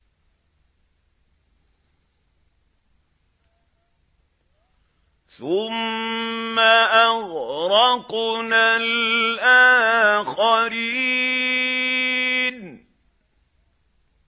ثُمَّ أَغْرَقْنَا الْآخَرِينَ